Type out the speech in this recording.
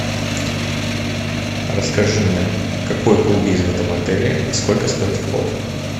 расскажи мне какой клуб есть в этом отеле и сколько стоит вход